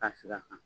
Ka sira kan